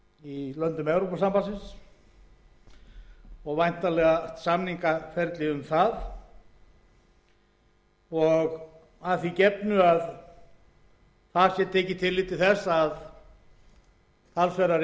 í löndum evrópusambandsins og væntanlegu samningaferli um það að því gefnu að tekið sé tillit til þess að talsverðar eignir geti farið upp í þær skuldir á móti við sölu eigna meðal